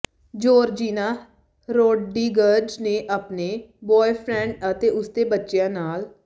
Georgina Rodriguez ਨੇ ਆਪਣੇ boyfriend ਅਤੇ ਉਸਦੇ ਬੱਚਿਆਂ ਨਾਲ